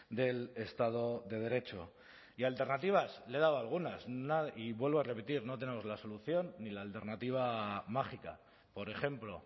del estado de derecho y alternativas le he dado algunas y vuelvo a repetir no tenemos la solución ni la alternativa mágica por ejemplo